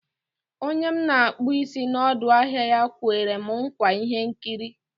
Onye m na-akpụ isi n'ọdọ ahịa ya kwere m nkwa ihe nrita.